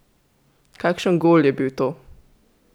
Kakšen gol je bil to!